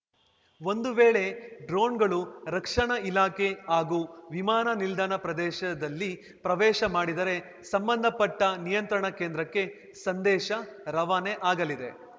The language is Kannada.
ಒಂದು ವೇಳೆ ಡ್ರೋನ್‌ಗಳು ರಕ್ಷಣಾ ಇಲಾಖೆ ಹಾಗೂ ವಿಮಾನ ನಿಲ್ದಾಣ ಪ್ರದೇಶದಲ್ಲಿ ಪ್ರವೇಶ ಮಾಡಿದರೆ ಸಂಬಂಧ ಪಟ್ಟನಿಯಂತ್ರಣಾ ಕೇಂದ್ರಕ್ಕೆ ಸಂದೇಶ ರವಾನೆ ಆಗಲಿದೆ